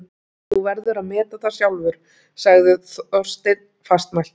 Þú verður að meta það sjálfur- sagði Þorsteinn fastmæltur.